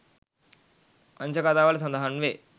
වංශකතාවල සඳහන් වේ.